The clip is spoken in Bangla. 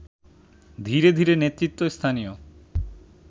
ধীরে ধীরে নেতৃত্ব স্থানীয়